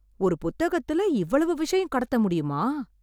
ஒரு புத்தகத்துல் இவ்வளவு விஷயம் கடத்த முடியுமா